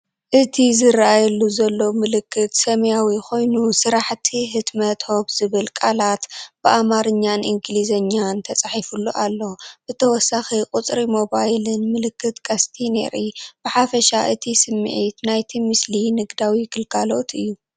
እቲ ዝርኣየሉ ዘሎ ምልክት ሰማያዊ ኮይኑ፡ "ስራሕቲ ሕትመት ሆፕ" ዝብል ቃላት ብኣምሓርኛን እንግሊዝኛን ተጻሒፉሉ ኣሎ። ብተወሳኺ ቁጽሪ ሞባይልን ምልክት ቀስቲን የርኢ። ብሓፈሻ እቲ ስምዒት ናይቲ ምስሊ ንግዳዊ ግልጋሎት እዩ።